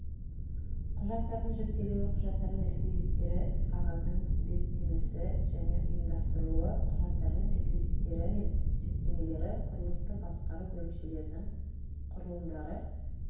құжаттардың жіктелуі құжаттардың реквизиттері іс-қағаздың тізбектемесі және ұйымдастырылуы құжаттардың реквизиттері мен жіктемелері құрылысты басқару бөлімшілердің құрылымдары